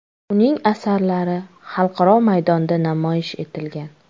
Uning asarlari xalqaro maydonda namoyish etilgan.